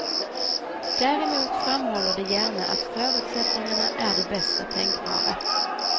Däremot framhåller de gärna att förutsättningarna är de bästa tänkbara.